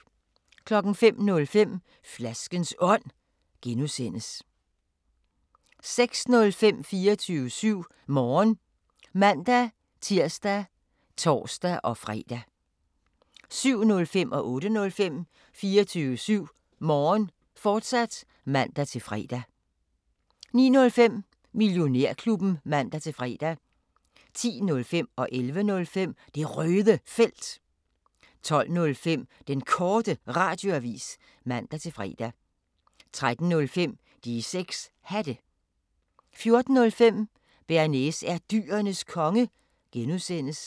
05:05: Flaskens Ånd (G) 06:05: 24syv Morgen (man-tir og tor-fre) 07:05: 24syv Morgen, fortsat (man-fre) 08:05: 24syv Morgen, fortsat (man-fre) 09:05: Millionærklubben (man-fre) 10:05: Det Røde Felt 11:05: Det Røde Felt 12:05: Den Korte Radioavis (man-fre) 13:05: De 6 Hatte 14:05: Bearnaise er Dyrenes Konge (G)